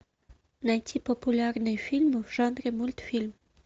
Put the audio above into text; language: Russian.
найти популярные фильмы в жанре мультфильм